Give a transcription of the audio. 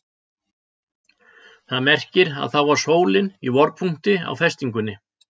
Það merkir að þá var sólin í vorpunkti á festingunni.